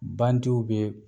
Bantiw bɛ yen.